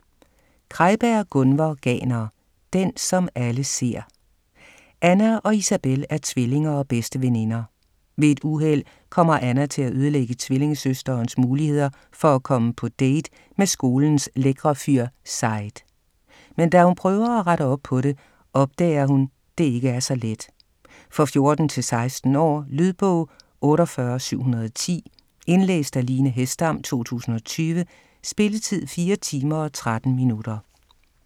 Krejberg, Gunvor Ganer: Den som alle ser Anna og Isabel er tvillinger og bedste veninder. Ved et uheld kommer Anna til at ødelægge tvillingesøsterens muligheder for at komme på date med skolens lækre fyr Said. Men da hun prøver at rette op på det, opdager hun, det ikke er så let. For 14-16 år. Lydbog 48710 Indlæst af Line Hesdam, 2020. Spilletid: 4 timer, 13 minutter.